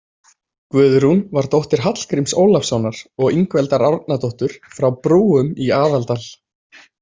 Guðrún var dóttir Hallgríms Ólafssonar og Ingveldar Árnadóttur frá Brúum í Aðaldal.